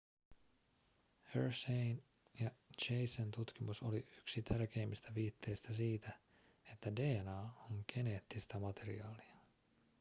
hersheyn ja chasen tutkimus oli yksi tärkeimmistä viitteistä siitä että dna on geneettistä materiaalia